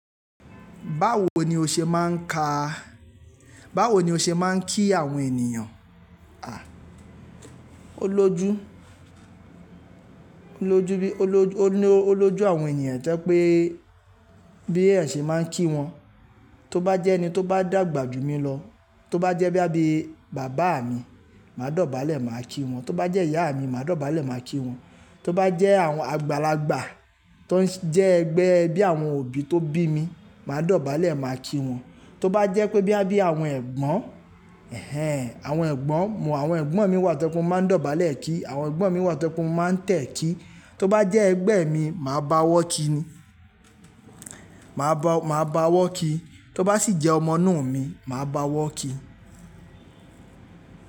Báwo ni o ṣe máa ń ka, báwo ni o ṣe máa ń kí àwọn ènìyàn? À, ó lojú, ó lojú, ó lojú àwọn ènìyàn to jẹ́ pé bí eeyan ṣe máa ń kí wọn. Tó bá jẹ́ ẹni tó bá dàgbà jù mí lọ, tó bá jẹ́ boya bii bàbá mi, màá dọ̀bálẹ̀ màá kí wọn. Tó bá jẹ́ ìyá mi, màá dọ̀bálẹ̀ màá kí wọn. Tó bá jẹ́ àwọn àgbàlagbà, tó jẹ́ ẹgbẹ́ bíi àwọn òbí tó bí mi, màá dọ̀bálẹ̀ màá kí wọn. Tó bá jẹ́ pé boya bii àwọn ẹ̀gbọ́n, ẹhẹ́n àwọn ẹ̀gbọ́n, mọ àwọn ẹ̀gbọ́n mii wá to je pe, mo máa ń dọ̀bálẹ̀ kí, àwọn ẹ̀gbọ́n mi wá to je pe mo máa tẹ̀ kí. Tó bá jẹ́ ẹgbẹ́ mi, màá bá owọ́ kí ni, màá bá, màá bá owo kí. Tó bá ṣì jẹ́ ọmọ inu mi, màá bá owọ́ kí.